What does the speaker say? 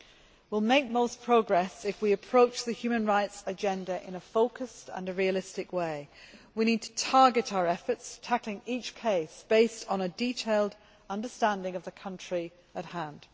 We will make most progress if we approach the human rights agenda in a focused and realistic way. We need to target our efforts, tackling each case based on a detailed understanding of the country at hand.